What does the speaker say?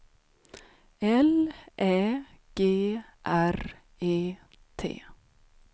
L Ä G R E T